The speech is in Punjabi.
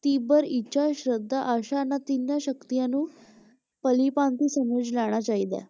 ਤੀਬਰ ਇੱਛਾ, ਸ਼ਰਧਾ, ਆਸ਼ਾ ਇਨ੍ਹਾਂ ਤਿੰਨ ਸ਼ਕਤੀਆਂ ਨੂੰ ਭਲੀਭਾਂਤੀ ਸਮਝ ਲੈਣਾ ਚਾਹੀਦਾ ਹੈ।